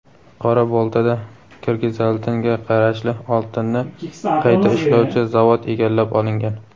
Qora-Boltada "Kirgizaltin"ga qarashli oltinni qayta ishlovchi zavod egallab olingan.